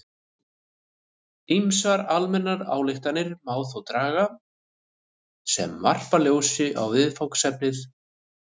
Ýmsar almennar ályktanir má þó draga sem varpa ljósi á viðfangsefnið.